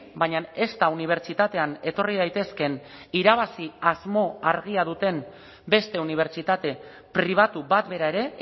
baina ezta unibertsitatean etorri daitezkeen irabazi asmo argia duten beste unibertsitate pribatu bat bera ere